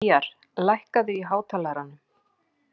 Gýgjar, lækkaðu í hátalaranum.